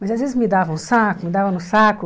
Mas às vezes me davam no saco, me davam no saco.